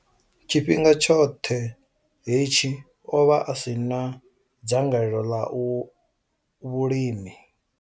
Tshifhinga tshoṱhe hetshi, o vha a si na dzangalelo ḽa vhulimi.